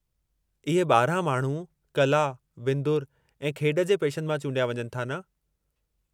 इहे 12 माण्हू कला, विंदुर ऐं खेॾ जे पेशनि मां चूंडिया वञनि था न?